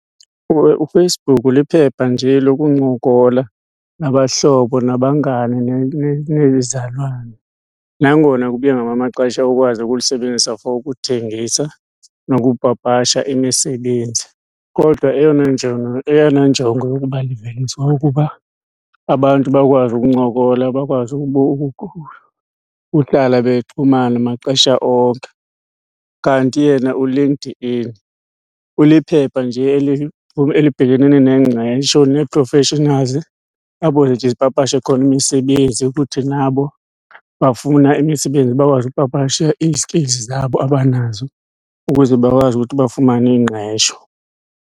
UFacebook liphepha nje lokuncokola nabahlobo nabangani nezizalwane. Nangona kubuye ngamanye amaxesha ukwazi ukulisebenzisa for ukuthengisa nokupapasha imisebenzi, kodwa eyona njongo eyona njongo yokuba liveliswe kukuba abantu bakwazi ukuncokola, bakwazi uhlala bexhumana maxesha onke. Kanti yena uLinkedIn uliphepha nje elibhekenene nengqesho nee-professionals, apho zipapashe khona imisebenzi. Futhi nabo bafuna imisebenzi bakwazi ukupapasha i-skills zabo abanazo ukuze bakwazi ukuthi bafumane ingqesho.